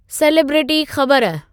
celebrity ख़बर